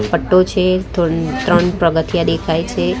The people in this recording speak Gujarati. પટ્ટો છે થ ત્રણ પગથ્યા દેખાય છે.